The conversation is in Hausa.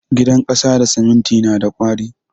Gidan kasa da siminti na da ƙwari.